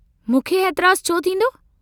मूंखे एतराजु छो थींदो?